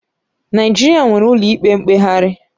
Naịjirịa nwere ụlọikpe mkpegharị.